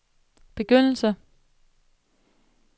begyndelse